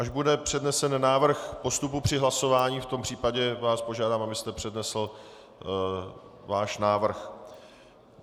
Až bude přednesen návrh postupu při hlasování, v tom případě vás požádám, abyste přednesl svůj návrh.